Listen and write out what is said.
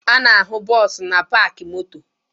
A na-ahụ bọọsụ na paakị moto